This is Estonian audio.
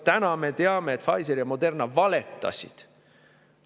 Täna me teame, et Pfizer ja Moderna valetasid.